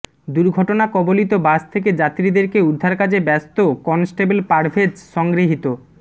দুর্ঘটনা কবলিত বাস থেকে যাত্রীদেরকে উদ্ধারকাজে ব্যস্ত কনস্টেবল পারভেজ সংগৃহীত